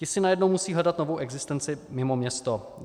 Ti si najednou musí hledat novou existenci mimo město.